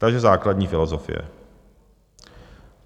Takže základní filozofie.